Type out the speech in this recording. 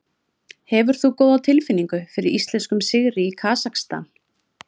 Hefur þú góða tilfinningu fyrir íslenskum sigri í Kasakstan?